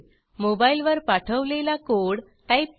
मोबाईलवर पाठवलेला code type करा